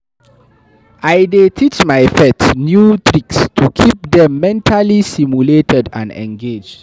I dey teach my pet new tricks to keep dem mentally stimulated and engaged.